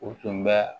U tun bɛ